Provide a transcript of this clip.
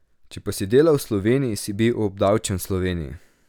Če pa si delal v Sloveniji, si obdavčen v Sloveniji.